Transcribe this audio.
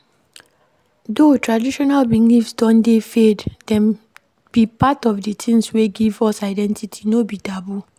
Though traditional beliefs don dey fade, dem be part of di things wey give us identity, no be taboo